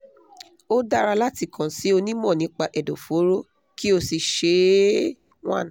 ó dára láti kàn sí onímọ̀ nípa ẹ̀dọ̀fóró kí o sì ṣe é one